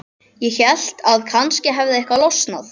Ég hélt að kannski hefði eitthvað losnað.